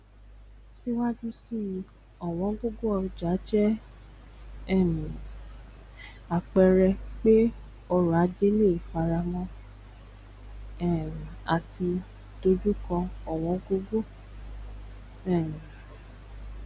síwájú síi ọwọn gogo ọjà jẹ um àpẹẹrẹ pe ọrọ ajé leè faramọ um àti dojukọ ọwọn gogo um